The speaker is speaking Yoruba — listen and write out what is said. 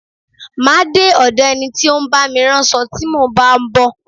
Má a de ọ̀do ẹni tí ó ń bá mi ránṣo tí mo bá ń bọ̀.